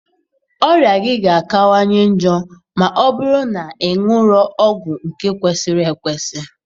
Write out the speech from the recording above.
Ọrịa gị ga-akawanye njọ ma ọ bụrụ na ị aṅụrọ ọgwụ nke kwesịrị ekwesị.